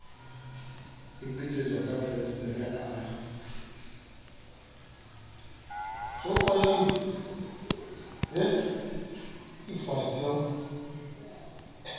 e betsetswa ka fensetere a